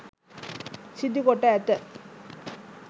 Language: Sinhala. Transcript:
සිදුකොට ඇත.